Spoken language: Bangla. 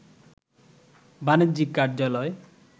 বাণিজ্যিক কার্যালয়